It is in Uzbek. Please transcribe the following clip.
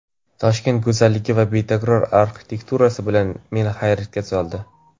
Toshkent go‘zalligi va betakror arxitekturasi bilan meni hayratga soldi.